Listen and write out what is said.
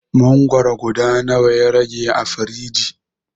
Mangwaro guda nawa ya rage a firiji?